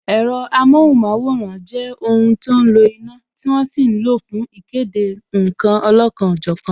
Ẹ̀rọ amohunmaworan jẹ́ ohun tí ó ń lo iná, tí wọ́n sì ń lo fún ìkéde nkan olọ́kan ọ jọ̀kan